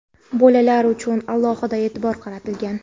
Bolalar uchun ham alohida e’tibor qaratilgan.